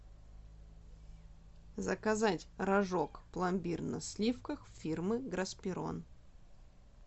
заказать рожок пломбир на сливках фирмы гроспирон